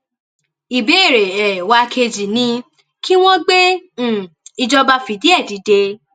ìbéèrè um wa kejì ni kí wọn gbé um ìjọba fìdíhe dìde